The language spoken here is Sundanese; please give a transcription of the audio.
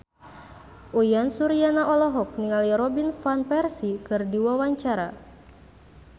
Uyan Suryana olohok ningali Robin Van Persie keur diwawancara